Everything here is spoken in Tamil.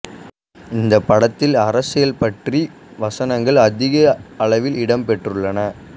இந்த படத்தில் அரசியல் பற்றிய வசனங்கள் அதிக அளவில் இடம் பெற்றுள்ளன